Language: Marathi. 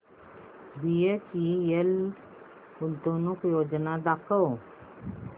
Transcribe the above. बीएचईएल गुंतवणूक योजना दाखव